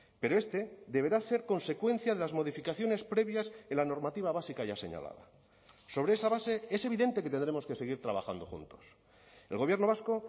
pero este deberá ser consecuencia de las modificaciones previas en la normativa básica ya señalada sobre esa base es evidente que tendremos que seguir trabajando juntos el gobierno vasco